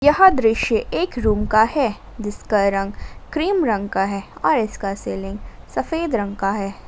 यह दृश्य एक रूम का है जिसका रंग क्रीम रंग का है और इसका सीलिंग सफेद रंग का है।